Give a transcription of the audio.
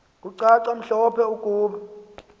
kucace mhlophe ukuba